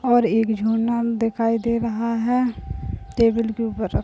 और एक दिखाई दे रहा है। टेबल के ऊपर रख --